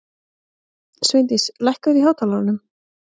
Sveindís, lækkaðu í hátalaranum.